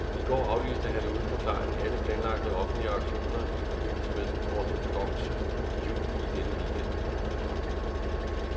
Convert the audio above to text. I går aflyste han uden forklaring alle planlagte offentlige aktioner i forbindelse med den ortodokse jul i denne weekend.